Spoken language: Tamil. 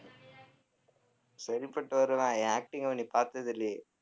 சரிப்பட்டு வருவேன் என் acting எல்லாம் நீ பார்த்ததில்லையே